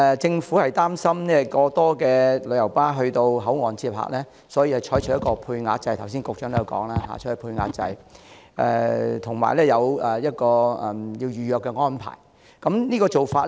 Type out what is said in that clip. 政府擔心過多旅遊巴到口岸接客，所以採取配額制，剛才局長也提及配額制，以及預約安排。